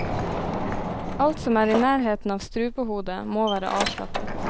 Alt som er i nærheten av strupehodet, må være avslappet.